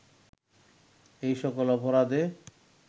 এ সকল অপরাধে